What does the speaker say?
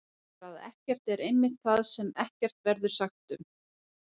Svarið er að ekkert er einmitt það sem ekkert verður sagt um!